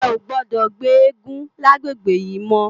È ó gbòdò gbé égùn làgbégbé yi mò